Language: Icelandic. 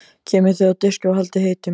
Geymið þau á diski og haldið heitum.